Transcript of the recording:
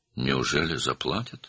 Həqiqətən ödəyəcəklər?